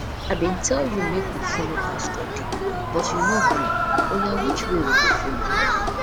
i bin tell you make we follow pastor de but you no gree oya which way we go follow